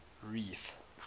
reef